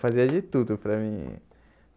Fazia de tudo para mim.